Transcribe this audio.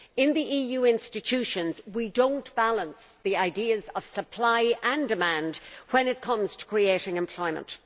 In the EU institutions we do not balance the ideas of supply and demand when it comes to creating employment.